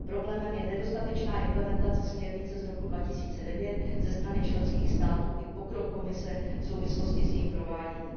Problémem je nedostatečná implementace směrnice z roku 2009 ze strany členských států i pokrok Komise v souvislosti s jejím prováděním.